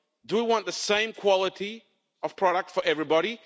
Do we want the same quality of product for everybody?